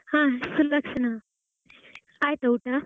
ಹಾ ಸುಲಕ್ಷಣ ಆಯ್ತಾ ಊಟ?